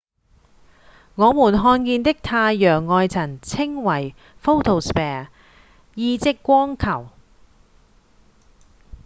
我們看見的太陽外層稱為「photosphere」意即「光球」